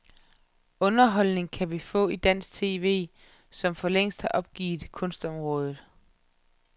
Underholdning kan vi få i dansk tv, som for længst har opgivet kunstområdet.